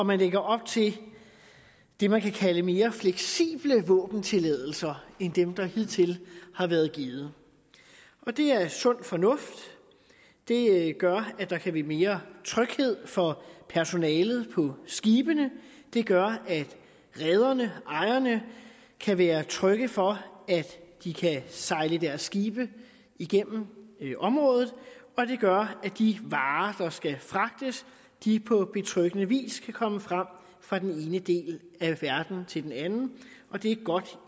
man lægger op til det man kan kalde mere fleksible våbentilladelser end dem der hidtil har været givet og det er sund fornuft det gør at der kan blive mere tryghed for personalet på skibene det gør at rederne ejerne kan være trygge for at de kan sejle deres skibe igennem området og det gør at de varer der skal fragtes på betryggende vis kan komme frem fra den ene del af verden til den anden og det er godt